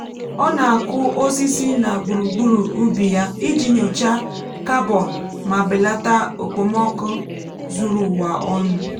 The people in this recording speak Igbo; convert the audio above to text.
ọ na-akụ um osisi na gburugburu ubi ya iji nyochaa carbon ma belata okpomọkụ um zuru ụwa ọnụ.